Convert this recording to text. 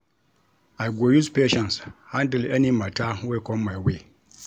I go use patience handle any mata wey com my way.